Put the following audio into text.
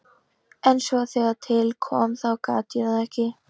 En svo þegar til kom þá gat ég það ekki.